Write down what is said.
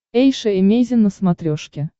эйша эмейзин на смотрешке